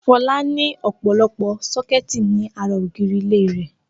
Fọlá ní ọ̀pọ̀lọpọ̀ sọ́kẹ́tì ní ara ògiri ilé rẹ̀.